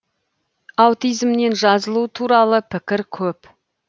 аутизмнен жазылу туралы пікір көп